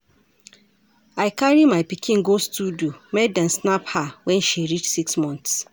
I carry my pikin go studio make dem snap her wen she reach six month.